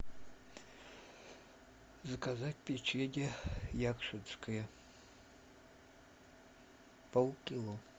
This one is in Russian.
заказать печенье якшинское полкило